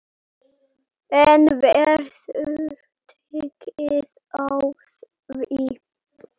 En verður tekið á því?